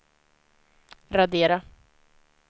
radera